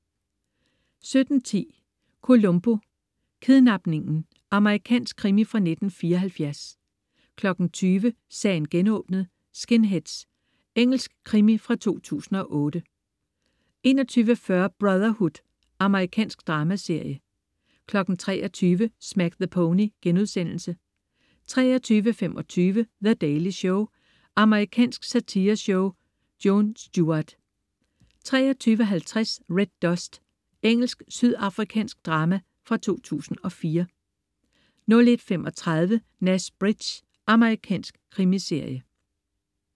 17.10 Columbo: Kidnapningen. Amerikansk krimi fra 1974 20.00 Sagen genåbnet: Skinheads. Engelsk krimi fra 2008 21.40 Brotherhood. Amerikansk dramaserie 23.00 Smack the Pony* 23.25 The Daily Show. Amerikansk satireshow. Jon Stewart 23.50 Red Dust. Engelsk-sydafrikansk drama fra 2004 01.35 Nash Bridges. Amerikansk krimiserie